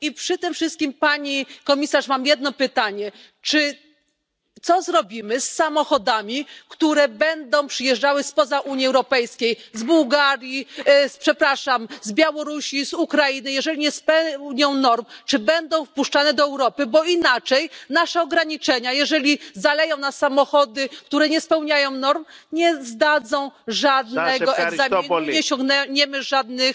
Przy tym wszystkim, Pani Komisarz mam jedno pytanie, co zrobimy z samochodami, które będą przyjeżdżały spoza Unii Europejskiej, z Bułgarii, z przepraszam z Białorusi, Ukrainy, jeżeli nie spełniają norm, czy będą wpuszczane do Europy, bo inaczej nasze ograniczenia, jeżeli zaleją nas samochody, które nie spełniają norm, nie zdadzą żadnego egzaminu, nie osiągniemy żadnych